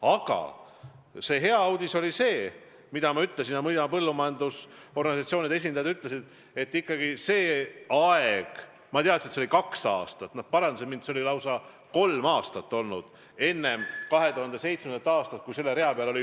Aga hea uudis oli see, mida ma ütlesin ja mida ka põllumajandusorganisatsioonide esindajad ütlesid, et mõnda aega – mina teadsin, et see oli kaks aastat, aga nad parandasid mind, see oli lausa kolm aastat – enne 2007. aastat oli selle rea peal null.